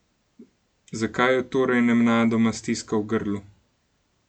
Zakaj jo torej nenadoma stiska v grlu?